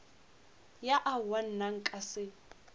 ya aowa nna nka se